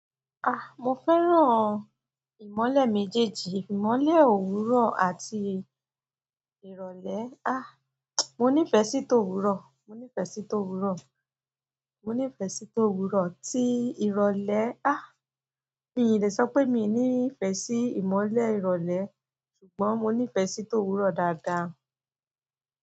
Ah, mo fẹ́ràn ìmọ́lẹ̀ méjèèjì, ìmọ́lẹ̀ òwúrọ̀ àti ìrọ̀lẹ́. Mo nífẹ̀ẹ́ sí ti òwúrọ̀, mo nífẹ̀ẹ́ sí ti òwúrọ̀, mo nífẹ̀ẹ́ sí ti òwúrọ̀. Tí ìrọ̀lẹ́, mii lè sọ pé mi ò nífẹ̀ẹ́ sí ìmọ́lẹ̀ ìrọ̀lẹ́ ṣùgbọ́n mo nífẹ̀ẹ́ sí ti òwúrọ̀ dáadáa.